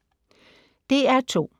DR2